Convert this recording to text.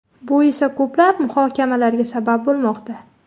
Bu esa ko‘plab muhokamalarga sabab bo‘lmoqda.